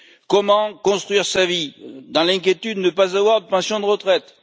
Comment construire sa vie dans l'inquiétude de ne pas avoir de pension de retraite?